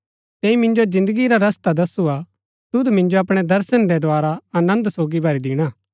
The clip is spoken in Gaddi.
तैंई मिन्जो जिन्दगी रा रस्ता दसुआ तुद मिन्जो अपणै दर्शन रै द्धारा आनन्द सोगी भरी दिणा